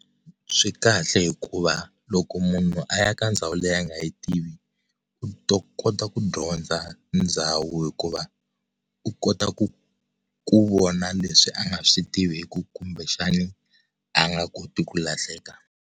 Swi kahle hikuva loko munhu a ya ka ndhawu leyi a nga yi tivi, u ta kota ku dyondza ndhawu hikuva u kota ku ku vona leswi a nga swi tiviki kumbe xana a nga koti ku lahleka.